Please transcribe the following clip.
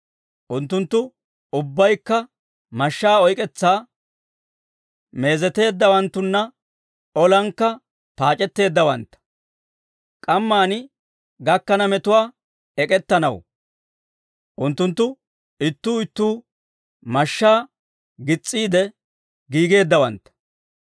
Unttunttu ubbaykka mashshaa oyk'k'etsaa meezeteeddawanttanne, olankka paac'etteeddawantta. K'amman gakkana metuwaa ek'ettanaw, unttunttu ittuu ittuu mashshaa gis's'iide giigeeddawantta.